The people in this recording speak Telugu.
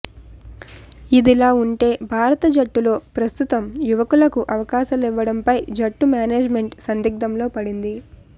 ఇదిలాఉంటే భారత జట్టులో ప్రస్తుతం యువకులకు అవకాశలివ్వడంపై జట్టు మేనేజ్ మెంట్ సందిగ్ధంలో పడింది